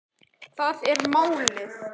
Þar er málið.